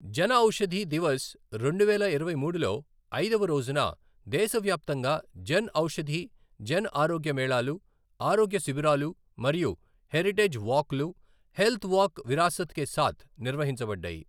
జన ఔషధి దివస్ రెండువేల ఇరవై మూడులో ఐదవ రోజున దేశవ్యాప్తంగా జన్ ఔషధి జన్ ఆరోగ్య మేళాలు, ఆరోగ్య శిబిరాలు మరియు హెరిటేజ్ వాక్లు, హెల్త్ వాక్ విరాసత్ కే సాథ్ నిర్వహించబడ్డాయి.